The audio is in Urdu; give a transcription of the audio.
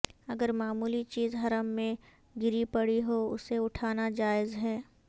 اگر معمولی چیز حرم میں گری پڑی ہواسے اٹھانا جائز ہے